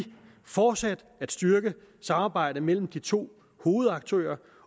fortsat at styrke samarbejdet mellem de to hovedaktører